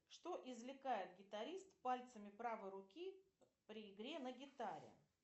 что извлекает гитарист пальцами правой руки при игре на гитаре